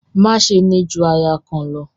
Má ṣe ni ju aya kan lọ!